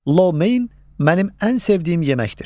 Lomeyn mənim ən sevdiyim yeməkdir.